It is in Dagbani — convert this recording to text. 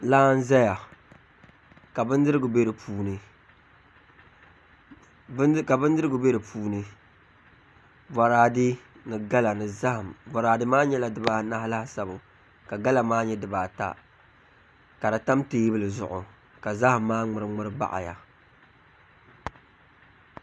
Laa n ʒɛya ka bindirigu bɛ di puuni boraadɛ ni gala ni zaham boraadɛ maa nyɛla dabaanahi laasabu ka gala maa nyɛ dibaa ta ka di tam teebuli zuɣu ka zaham maa ŋmuri ŋmuri baɣaya